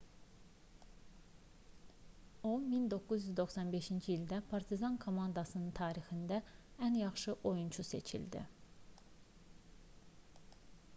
o 1995-ci ildə partizan komandasının tarixində ən yaxşı oyunçu seçildi